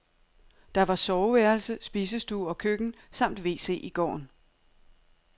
Der var soveværelse, spisestue og køkken samt wc i gården.